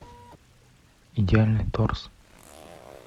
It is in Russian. идеальный торс